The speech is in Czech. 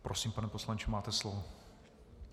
Prosím, pane poslanče, máte slovo.